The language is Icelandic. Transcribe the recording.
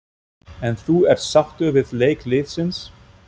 En þú ert sáttur við leik liðsins?